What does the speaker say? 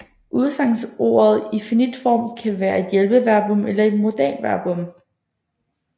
Udsagnsordet i finit form kan være et hjælpeverbum eller et modalverbum